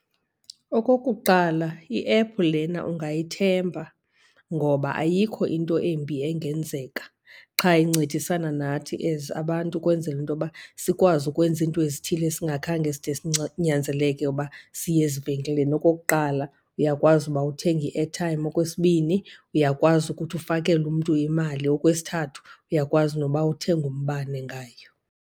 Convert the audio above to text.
Okokuqala, iephu lena ungayithemba ngoba ayikho into embi engenzeka qha incedisana nathi as abantu ukwenzela into yoba sikwazi ukwenza iinto ezithile esingakhange side uba siye ezivenkileni. Okokuqala, uyakwazi uba uthenge i-airtime. Okwesibini, uyakwazi ukuthi ufakele umntu imali. Okwesithathu, uyakwazi noba uthenge umbane ngayo.